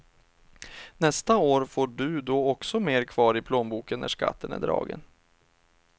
Nästa år får du då också mer kvar i plånboken när skatten är dragen.